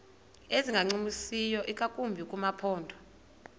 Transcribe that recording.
ezingancumisiyo ingakumbi kumaphondo